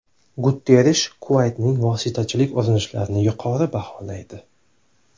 Guterrish Kuvaytning vositachilik urinishlarini yuqori baholaydi.